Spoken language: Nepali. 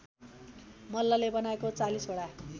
मल्लले बनाएको ४० वटा